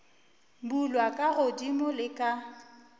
bulwa ka godimo le ka